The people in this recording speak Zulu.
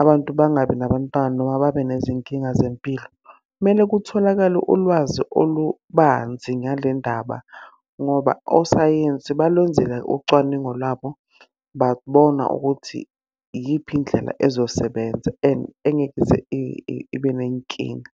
abantu bangabi nabantwana noma babe nezinkinga zempilo. Kumele kutholakale ulwazi olubanzi ngale ndaba ngoba osayensi balwenzile ucwaningo lwabo, babona ukuthi iyiphi indlela ezosebenza. And engeke ize ibe ney'nkinga.